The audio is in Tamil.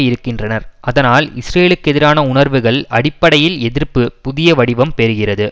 இருக்கின்றனர் அதனால் இஸ்ரேலுக்கெதிரான உணர்வுகள் அடிப்படையில் எதிர்ப்பு புதிய வடிவம் பெறுகிறது